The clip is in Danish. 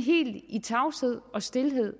helt i tavshed og stilhed